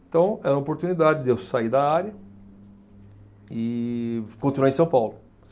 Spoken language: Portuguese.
Então, era uma oportunidade de eu sair da área e continuar em São Paulo.